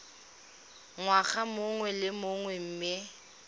ngwaga mongwe le mongwe mme